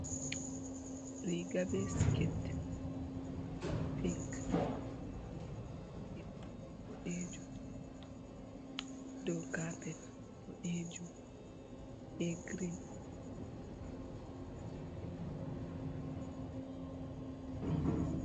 Riga be sket pink je paune boɗejum dow capet bodejum be grin roɓe ɗo fauna bandu be fauna bei mai.